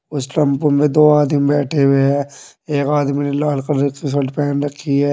उस टम्पू में दो आदमी बैठे हुए हैं एक आदमी ने लाल कलर की शर्ट पहन रखी है।